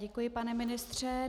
Děkuji, pane ministře.